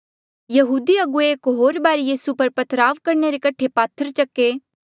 यहूदी अगुवे एक होर बारी यीसू पर पथराव करणे रे कठे पात्थर चके